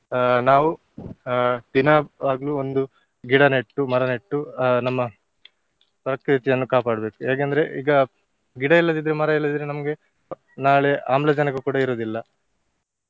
ಆ ನಾವು ಆ ದಿನ ಆಗ್ಲೂ ಒಂದು ಗಿಡ ನೆಟ್ಟು, ಮರ ನೆಟ್ಟು ಆ ನಮ್ಮ ಪ್ರಕೃತಿಯನ್ನು ಕಾಪಾಡ್ಬೇಕು ಯಾಕೆಂದ್ರೆ ಈಗ ಗಿಡ ಇಲ್ಲದಿದ್ರೆ ಮರ ಇಲ್ಲದಿದ್ರೆ ನಮ್ಗೆ ನಾಳೆ ಆಮ್ಲಜನಕ ಕೂಡ ಇರುದಿಲ್ಲ.